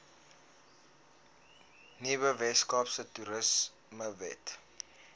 nuwe weskaapse toerismewet